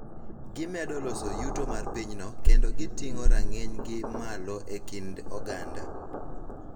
Gimedo loso yuto mar pinyno kendo giting�o rang�inygi malo e kind oganda.